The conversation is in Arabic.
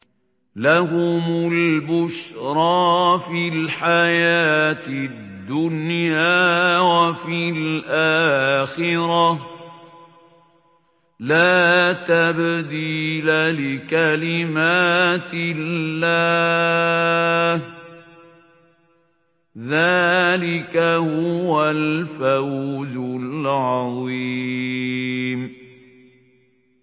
لَهُمُ الْبُشْرَىٰ فِي الْحَيَاةِ الدُّنْيَا وَفِي الْآخِرَةِ ۚ لَا تَبْدِيلَ لِكَلِمَاتِ اللَّهِ ۚ ذَٰلِكَ هُوَ الْفَوْزُ الْعَظِيمُ